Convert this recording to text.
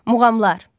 Muğamlar.